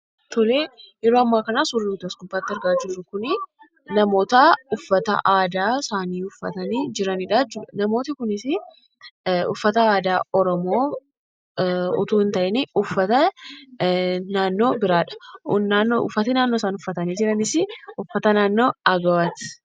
Yeroo ammaa kana suurri as gubbaatti argaa jirru kun namoota uffata aadaa isaanii uffatanii jiranidha jechuudha. Namootni kunis uffata aadaa Oromoo otoo hin ta'iin uffata naannoo biraadha. Uffati isaan uffatanii jiranis uffata naannoo Agawooti.